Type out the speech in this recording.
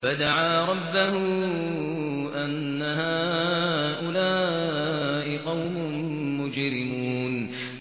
فَدَعَا رَبَّهُ أَنَّ هَٰؤُلَاءِ قَوْمٌ مُّجْرِمُونَ